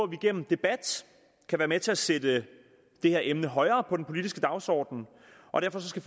igennem debat kan være med til at sætte det her emne højere på den politiske dagsorden og derfor skal